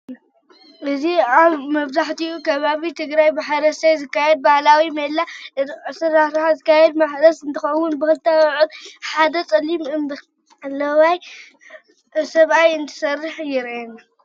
እዚ አብ መብዘሐትኡ ከባቢ ትግራይ ብሐረስታይ ዝካየድ ባህላዊ ሜላ አተሐራርሳ ዝካየድ ማሕረስ እንትኸውን ብክልተ አብዑር ሐደ ፀሊምን አምበለዋይን ስብአይ እንትሐርስ የርአና።